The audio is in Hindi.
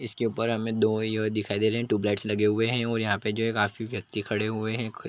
इसके ऊपर हमें दो ये दिखाई दे रहे हैं ट्युबलाइट्स लगे हुए हैं और यहाँ पे जो हैं काफ़ी व्यक्ति खड़े हुए हैं खु --